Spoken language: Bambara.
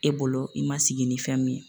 E bolo i ma sigi ni fɛn min ye